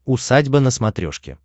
усадьба на смотрешке